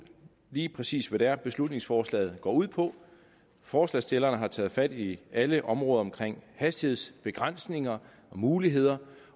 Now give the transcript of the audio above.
lige præcis hvad det er beslutningsforslaget går ud på forslagsstillerne har taget fat i alle områder omkring hastighedsbegrænsninger og muligheder